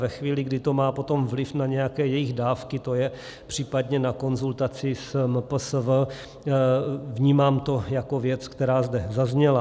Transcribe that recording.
Ve chvíli, kdy to má potom vliv na nějaké jejich dávky, to je případně na konzultaci s MPSV, vnímám to jako věc, která zde zazněla.